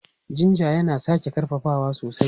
Jinja yana sake ƙarfafawa sosai.